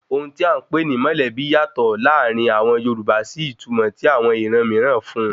Ohun tí à ń pè ni mọ̀lẹ́bí yàtọ̀ láàrin àwọn Yorùbá sí ìtumọ̀ tí àwọn iran mìíràn fún un